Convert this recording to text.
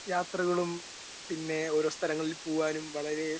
speaker 1 യാത്രകളും പിന്നെ ഓരോ സ്ഥലങ്ങളിൽ പോവാനും വളരെ